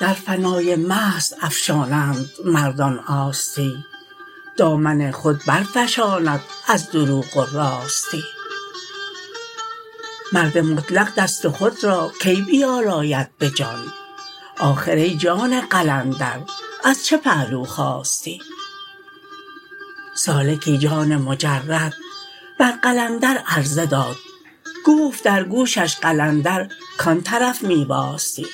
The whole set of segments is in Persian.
در فنای محض افشانند مردان آستی دامن خود برفشاند از دروغ و راستی مرد مطلق دست خود را کی بیالاید به جان آخر ای جان قلندر از چه پهلو خاستی سالکی جان مجرد بر قلندر عرضه داد گفت در گوشش قلندر کان طرف می واستی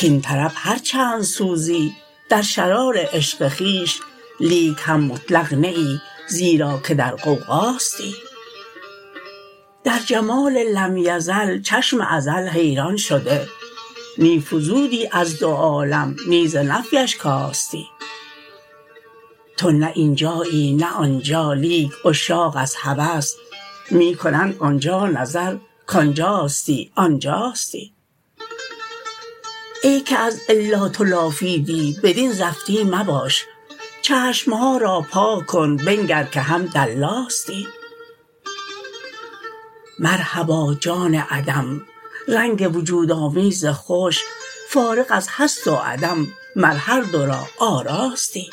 کاین طرف هر چند سوزی در شرار عشق خویش لیک هم مطلق نه ای زیرا که در غوغاستی در جمال لم یزل چشم ازل حیران شده نی فزودی از دو عالم نی ز نفیش کاستی تو نه این جایی نه آن جا لیک عشاق از هوس می کنند آن جا نظر کان جاستی آن جاستی ای که از الا تو لافیدی بدین زفتی مباش چشم ها را پاک کن بنگر که هم در لاستی مرحبا جان عدم رنگ وجودآمیز خوش فارغ از هست و عدم مر هر دو را آراستی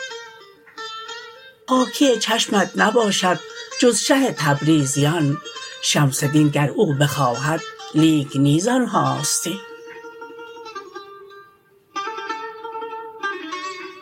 پاکی چشمت نباشد جز شه تبریزیان شمس دین گر او بخواهد لیک نی زان هاستی